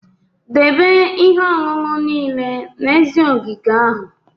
Debe ihe ọṅụṅụ niile n'èzí ogige ahụ!